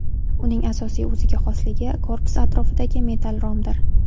Uning asosiy o‘ziga xosligi korpus atrofidagi metall romdir.